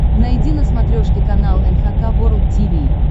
найди на смотрешке канал эн эйч кей волд ти ви